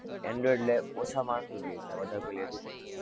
android લે, ઓછા માણસો જ લે છે, વધારે કોઈ લેતું પણ નથી.